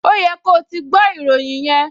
Ó yẹ ko ti gbọ́ ìròyìn yẹn!